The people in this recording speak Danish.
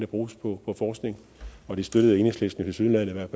bruges på forskning og det støttede enhedslisten tilsyneladende i hvert